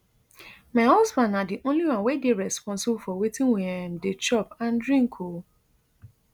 my husband na di only one wey dey responsible for wetin we um dey chop and drink um